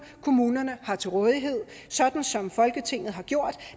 kommunerne har til rådighed sådan som folketinget har gjort